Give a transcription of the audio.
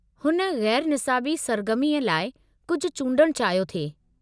हुन ग़ैरु निसाबी सरगर्मीअ लाइ कुझु चूंडण चाहियो थे।